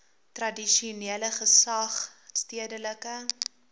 tradisionele gesag stedelike